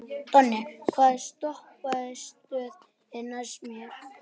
Donni, hvaða stoppistöð er næst mér?